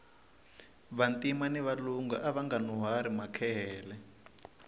vantima ni valungu avanga nuhwari makehele